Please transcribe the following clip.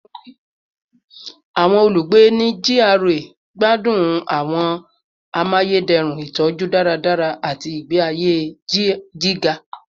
Awọn olugbe ni GRA gbadun awọn amayederun itọju daradara ati igbe aye giga